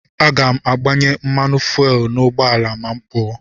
Aga m agbanye mmanụ fuwel n'ụgbọala ma m pụọ.